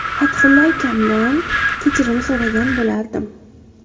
Fathulla akamdan kechirim so‘ragan bo‘lardim.